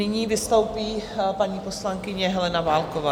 Nyní vystoupí paní poslankyně Helena Válková.